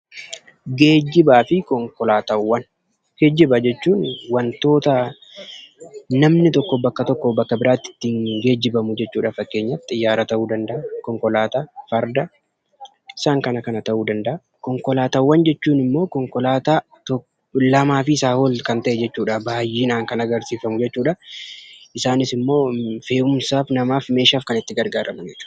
Gejjibaafi Konkolaataawwan. Gejjibaa jechuun wantoota namni tokko bakka tokko bakka biraatti ittin gejjibamuu jechuudha. Faakkenyaaf Xiyyaraa ta'u danda'a, Konkolaataa, Fardaa isaan kana kana ta'u danda. Konkolaataawwan jechuun lamafi isaa ol kan ta'e jechuudha. Baay'inna kan agarsisuu. Isaanis immoo fe'uumsa namaaf, meshaaf kan itti gargaraamnu jechuudha.